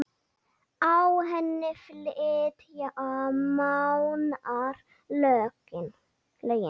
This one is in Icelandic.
Á henni flytja Mánar lögin